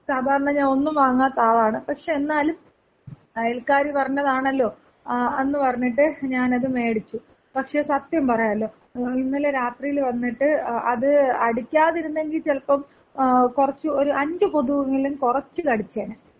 സാധാരണ ഞാനൊന്നും വാങ്ങാത്ത ആളാണ്. പക്ഷേ എന്നാലും അയൽക്കാര് പറഞ്ഞതാണല്ലോ ആ, ന്ന് പറഞ്ഞിട്ട് ഞാനത് മേടിച്ചു. പക്ഷേ സത്യം പറയാലോ, ഇന്നലെ രാത്രീല് വന്നിട്ട് അത് അടിക്കാതിരുന്നെങ്കി ചെലപ്പം കൊറച്ച്, ഒര് അഞ്ച് കൊതുവെങ്കിലും കൊറച്ച് കടിച്ചേനെ.